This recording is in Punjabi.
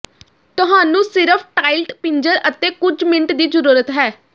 ਤੁਹਾਨੂੰ ਸਿਰਫ਼ ਟਾਇਲਟ ਪਿੰਜਰ ਅਤੇ ਕੁਝ ਮਿੰਟ ਦੀ ਜ਼ਰੂਰਤ ਹੈ